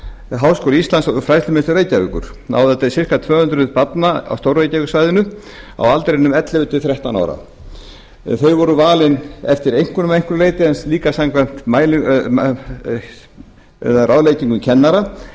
háskóli íslands og fræðslumiðstöð reykjavíkur náði það til sirka tvö hundruð barna á stór reykjavíkursvæðinu á aldrinum ellefu til þrettán ára þau voru valin eftir einkunnum að einhverju leyti en líka samkvæmt ráðleggingum kennara